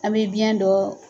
An bɛ biyɛn dɔ